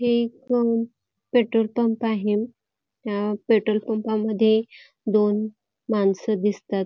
हे एक petrol pump आहे ह्या पेट्रोल पंप मधे दोन मानस दिसतात.